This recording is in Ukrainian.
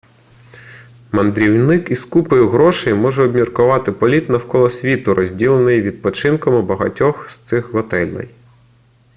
мандрівник із купою грошей може обміркувати політ навколо світу розділений відпочинком у багатьох із цих готелей